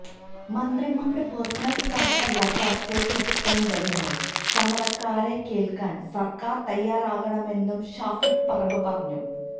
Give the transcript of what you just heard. മന്ത്രിമാരുടെ പേഴ്സണല് സ്റ്റാഫല്ല ചര്ച്ചയ്ക്കെത്തേണ്ടതെന്നും സമരക്കാരെ കേള്ക്കാന് സര്ക്കാര് തയ്യാറാകണമെന്നും ഷാഫി പറമ്പില് പറഞ്ഞു